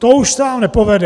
To už se vám nepovede!